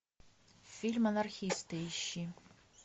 фильм анархисты ищи